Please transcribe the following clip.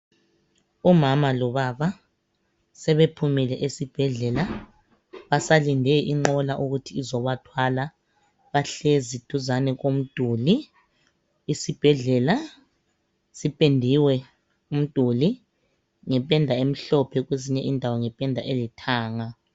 Umama lobaba sebephumile esibhedlela basalinde inqola ukuthi izobathwala bahlezi duzane komduli isibhedlela sipendiwe umduli ngependa emhlophe kwezinye indawo ngependa elithanga.